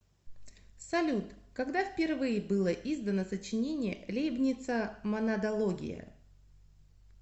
салют когда впервые было издано сочинение лейбница монадология